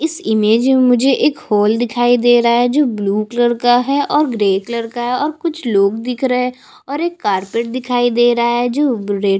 इस इमेज में मुझे एक होल दिखाई दे रहा है जो ब्लू कलर का है और ग्रे कलर का है और कुछ लोग दिख रहे है और एक कार्पेट दिखाई दे रहा है जो ब रेड --